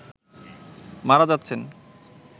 মারা যাচ্ছেন